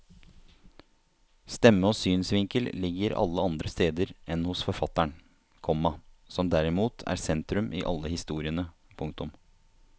Stemme og synsvinkel ligger alle andre steder enn hos forfatteren, komma som derimot er sentrum i alle historiene. punktum